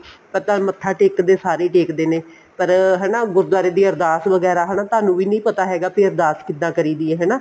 ਤਾਂ ਤੁਹਾਨੂੰ ਮੱਥਾ ਟੇਕਦੇ ਸਾਰੇ ਹੀ ਦੇਖਦੇ ਨੇ ਪਰ ਹਨਾ ਗੁਰਦੁਵਾਰੇ ਦੀ ਅਰਦਾਸ ਵਗੈਰਾ ਹਨਾ ਤੁਹਾਨੂੰ ਵੀ ਨੀ ਪਤਾ ਹੈਗਾ ਵੀ ਅਰਦਾਸ ਕਿੱਦਾਂ ਕਰੀ ਦੀ ਆ ਹਨਾ